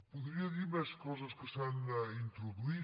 podria dir més coses que s’hi han introduït